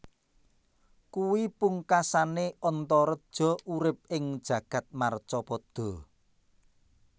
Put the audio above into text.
Kuwi pungkasané Antareja urip ing jagad marcapada